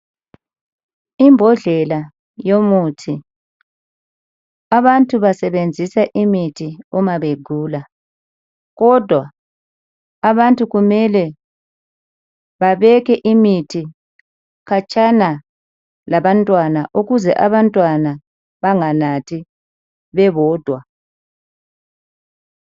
Imbodlela yomuthi abantu basebenzisa imithi uma begula kodwa abantu kumele babeke imithi khatshana labantwana ukuze abantwana banganathi bebodwa.